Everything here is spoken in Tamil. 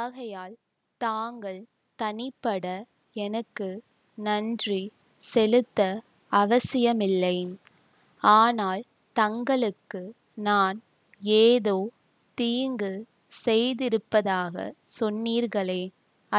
ஆகையால் தாங்கள் தனிப்பட எனக்கு நன்றி செலுத்த அவசியமில்லை ஆனால் தங்களுக்கு நான் ஏதோ தீங்கு செய்திருப்பதாகச் சொன்னீர்களே